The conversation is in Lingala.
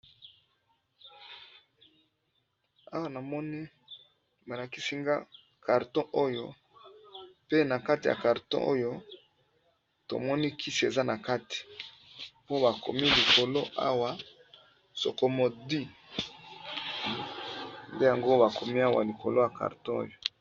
awa namoni malakisinga karton oyo pe na kati ya karton oyo tomoni kisi eza na kati po bakomi likolo awa sokomodi nde yango bakomi awa likolo ya karton oyo